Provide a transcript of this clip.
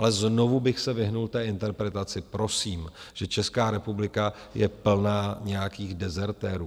Ale znovu bych se vyhnul té interpretaci, prosím, že Česká republika je plná nějakých dezertérů.